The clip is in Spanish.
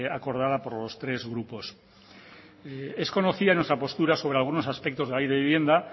acordada por los tres grupos es conocida nuestra postura sobre algunos aspectos de la ley de vivienda